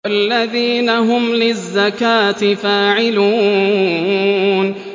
وَالَّذِينَ هُمْ لِلزَّكَاةِ فَاعِلُونَ